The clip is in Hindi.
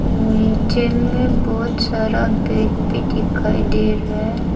नीचे में बहुत सारा बैट भी दिखाई दे रहा है।